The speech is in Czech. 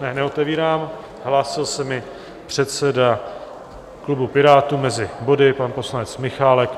Ne, neotevírám, hlásil se mi předseda klubu Pirátů mezi body, pan poslanec Michálek.